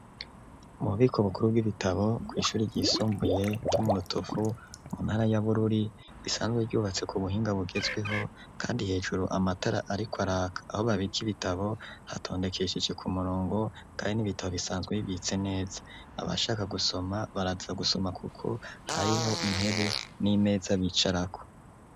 Mu bubiko bukuru bw'ibitabo, kw'ishure ryisumbuye ryo mu Rutovu, mu ntara ya Bururi, risanzwe ryubatse ku buhinga bugezweho kandi hejuru amatara ariko araka, aho babika ibitabo hatondekesheje ku murongo kandi n'ibitabo bisanzwe bibitse neza. Abashaka gusoma baraza gusoma kuko hariho intebe n'imeza bicarako.